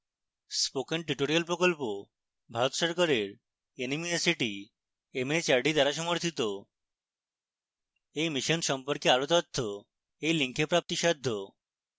spoken tutorial প্রকল্প ভারত সরকারের nmeict mhrd দ্বারা সমর্থিত এই mission সম্পর্কে আরো তথ্য এই link প্রাপ্তিসাধ্য